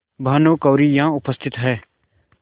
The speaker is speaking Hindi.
भानुकुँवरि यहाँ उपस्थित हैं